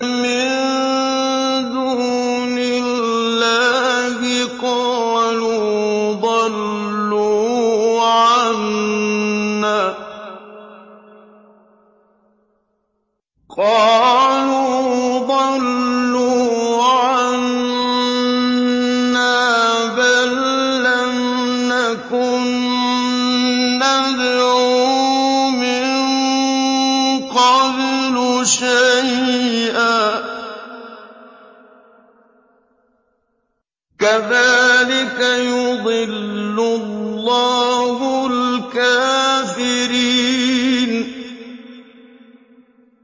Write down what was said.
مِن دُونِ اللَّهِ ۖ قَالُوا ضَلُّوا عَنَّا بَل لَّمْ نَكُن نَّدْعُو مِن قَبْلُ شَيْئًا ۚ كَذَٰلِكَ يُضِلُّ اللَّهُ الْكَافِرِينَ